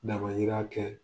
Damayira kɛ